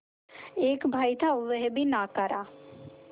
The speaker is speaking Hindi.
एक भाई था वह भी नाकारा